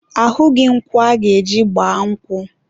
ahụghị nkwụ aga-eji gba nkwụ.